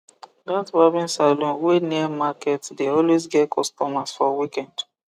that barbing salon wey near market dey always get customers for weekend